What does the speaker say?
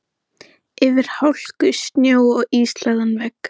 Hann fékk synjun, sem kom honum líklega ekki að óvörum.